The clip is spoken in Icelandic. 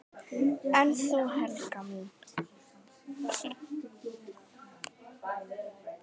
En þú, Helga mín?